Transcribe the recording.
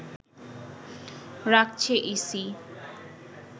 রাখছে ইসি